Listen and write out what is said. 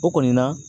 O kɔni na